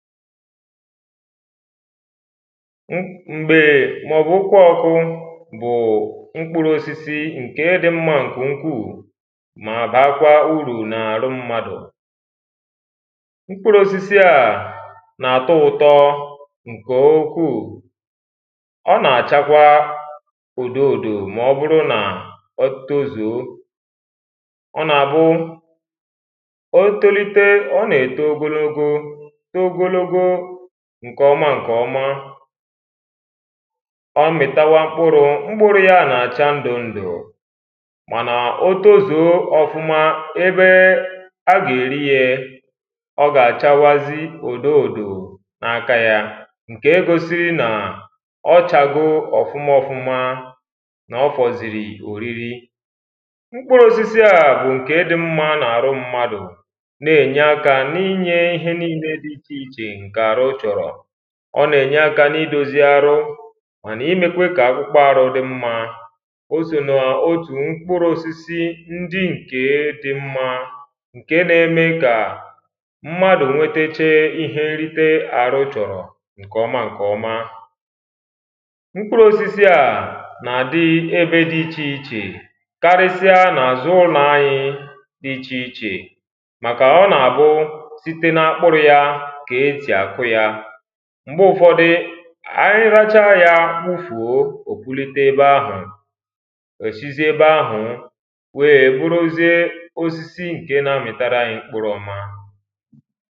m̀gbè màọ̀bù okwuọkụ bù mkpuru osisi ǹke dị mmā ǹkè ukwuù mà bakwaa ụrù nà-àrụ mmadù mkpuru osisi à nà-àtụ ụtọ ǹkè ụkwụù ọnà-àchakwa ùdụ ùdù, mà ọburu nà oto zùō ọnà àbụ otolite ọnà-èto ogologo too ogologo ǹkè ọma ǹkè ọma ọmìtawa mkpurū, mkpurū ya nà-àcha ndū ǹdù mànà otozùo ọ̀fuma ebee agà èrị yēē ọgà àchawazị ùdụ ùdù na-aka yā ǹke gosịrị nà ọchāgo ọ̀fụma ọfụma nà-ọfọ̀zìrì òrịrị mkpurū osisi à bù ǹke dị mmā nà-àrụ mmadù na-ènye akā nị enyē ihe niinē dị ịchì ịchè ǹkè àhụ chọ̀rọ̀ ọnà ènye akā n'idōzu arụ mà n'imēkwa kà akpụkpa arụ dị mmā osò nà-otù mkpuru osisi ndị ǹke dị mmā ǹke n’eme kà mmadù nweteche ihe nrịte àhụ chọ̀rọ̀ ǹkè ọma ǹkè ọma mkpurū osisi à nà-àdị ebe ịchì ịchè karịsịa nà-àzụ ụlọ̄ anyi dị ịchì ịchè màkà ọnà-àbụ site na mkpurū ya kà esì àkụ yā m̀gbe ufọdị ànyi racha yā wụfùo, òpụlete ebe-ahù òsizie ebe ahùū wèē bʊ́rʊ́zíe ósísí ŋ̀ké ná-ámìtárá áɲí ḿkpúrū ɔ́má